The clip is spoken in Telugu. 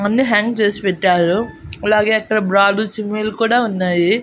అన్ని హ్యాంగ్ చేసి పెట్టారు అలాగే అక్కడ బ్రాలు చిమ్మిలు కూడా ఉన్నాయి.